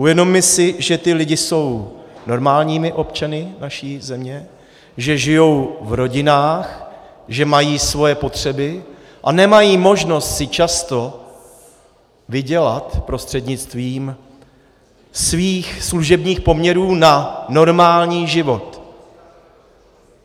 Uvědomme si, že ti lidé jsou normálními občany naší země, že žijí v rodinách, že mají svoje potřeby a nemají možnost si často vydělat prostřednictvím svých služebních poměrů na normální život.